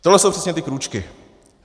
Tohle jsou přesně ty krůčky.